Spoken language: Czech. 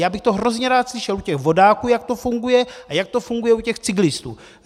Jak bych to hrozně rád slyšel u těch vodáků, jak to funguje, a jak to funguje u těch cyklistů.